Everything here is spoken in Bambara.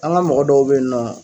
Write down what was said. An ka mɔgɔ dɔw bɛ yen nɔ